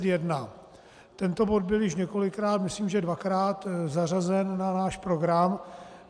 Tento bod byl již několikrát, myslím že dvakrát, zařazen na náš program.